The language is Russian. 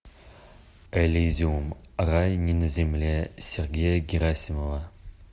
элизиум рай не на земле сергея герасимова